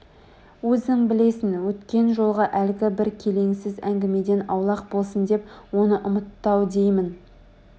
Өзің білесің өткен жолғы әлгі бір келеңсіз әңгімеден аулақ болсын деп оны ұмытты-ау деймін